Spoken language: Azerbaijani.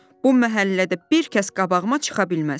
Bu məhəllədə bir kəs qabağıma çıxa bilməz.